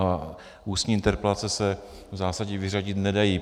A ústní interpelace se v zásadě vyřadit nedají.